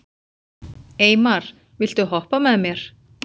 Eymar, viltu hoppa með mér?